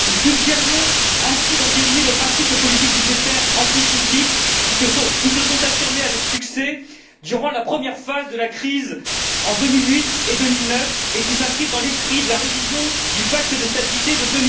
Nous suggérions ainsi d'entériner le principe de politiques budgétaires anticycliques qui se sont affirmées avec succès durant la première phase de la crise en 2008 et 2009, et qui s'inscrivent dans l'esprit de la révision du pacte de stabilité de